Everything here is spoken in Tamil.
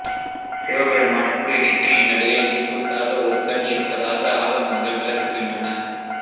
சிவபெருமானுக்கு நெற்றியின் நடுவே செங்குத்தாக ஒரு கண் இருப்பதாக ஆகமங்கள் விளக்குகின்றன